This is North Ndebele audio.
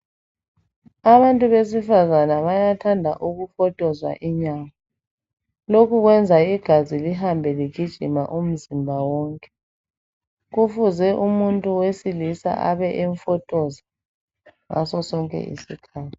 Abantu besifazana bayathanda ukufotozwa inyawo, lokhu kwenza igazi lihambe ligijima umzimba wonke. Kufuze umuntu wesilisa abe emfotoza ngaso sonke isikhathi